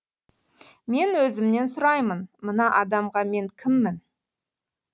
мен өзімнен сұраймын мына адамға мен кіммін